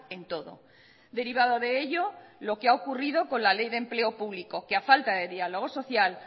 en todo derivado de ello lo que ha ocurrido con la ley de empleo público que a falta de diálogo social